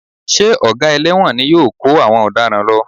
Ṣé Ọ̀gá ẹlẹ́wọ̀n ni yóò kó àwọn ọ̀daràn lọ?